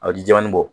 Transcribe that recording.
A bɛ ji jɛman nin bɔ